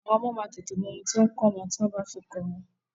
Àwọn ọmọ máa tètè mọ ohun tí ò ǹ kọ́ wọn tí o bá fi kọ orin.